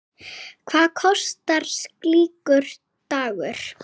Hvað kostar slíkur dagur?